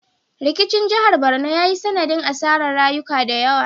Rikicin jihar Barno ya yi sanadin asarar rayuka da yawa